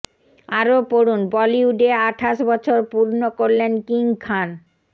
আরও পড়ুন বলিউডে আঠাশ বছর পূর্ণ করলেন কিং খান